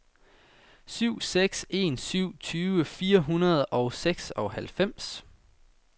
syv seks en syv tyve fire hundrede og seksoghalvfems